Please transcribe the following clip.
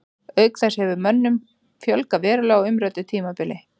Auk þess hefur mönnum fjölgað verulega á umræddu tímabili.